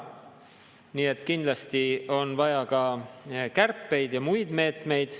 Nii et kindlasti on vaja ka kärpeid ja muid meetmeid.